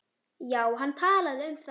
Já, hann talaði um það.